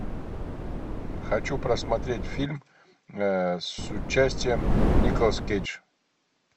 хочу просмотреть фильм с участием николас кейдж